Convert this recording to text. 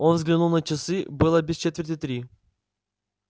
он взглянул на часы было без четверти три